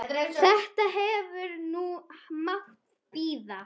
Þetta hefði nú mátt bíða.